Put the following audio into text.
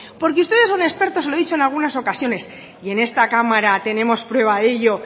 porque ustedes son expertos se lo he dicho en algunas ocasiones y en esta cámara tenemos prueba de ello